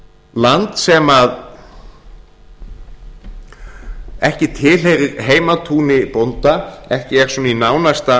land sem ekki tilheyrir heimatúni bónda ekki er svona í nánasta